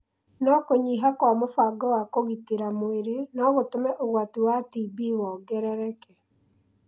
no kũnyiha kwa mũbango wa kũgitĩra mwĩrĩ no gũtũme ũgwati wa TB wongerereke.